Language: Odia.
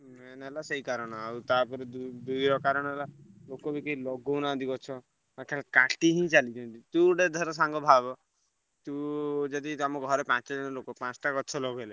Main ହେଲା ସେଇ କାରଣ। ଆଉ ତାପରେ ଦୁଇ ଦୁଇର କାରଣ ହେଲା ଲୋକବି କେହି ଲଗଉନାହାନ୍ତି ଗଛ। ଗଛ କାଟି ହିଁ ଚାଲିଛନ୍ତି ତୁ ଗୋଟେ ଧର ସାଙ୍ଗ ଭାବ ତୁ ଯଦି ତମ ଘରେ ପାଞ୍ଚ ଜଣ ଲୋକ ପାଞ୍ଚଟା ଗଛ ଲଗେଇଲେ ।